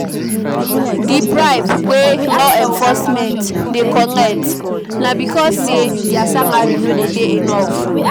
Di bribe wey law enforcement dey collect na because sey their salary no de dey enough